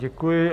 Děkuji.